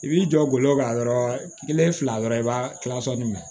I b'i jɔ gawo ka dɔrɔn kelen fila dɔrɔn i b'a kila sɔli minɛ